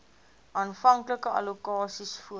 aanvanklike allokasies voor